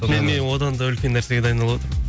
мен одан да үлкен нәрсеге дайындалыватырмын